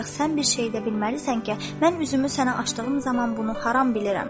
Ancaq sən bir şeyi də bilməlisən ki, mən üzümü sənə açdığım zaman bunu haram bilirəm.